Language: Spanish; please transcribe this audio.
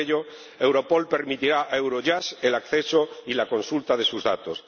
Por ello, Europol permitirá a Eurojust el acceso y la consulta de sus datos.